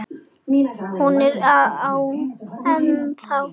Hún er ennþá.